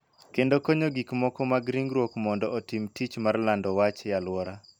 Kendo konyo gik moko mag ringruok mondo otim tich mar lando wach e alwora.